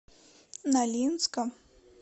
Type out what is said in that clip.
нолинска